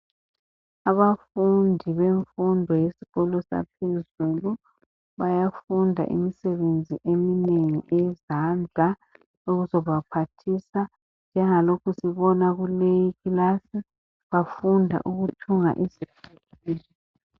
Abafundi bemfundo yesikolo saphezulu bayafunda imisebenzi eminengi eyezandla ezobaphathisa njengalokhu sibona kuleyi ikilasi bafunda ukuthunga izicathulo.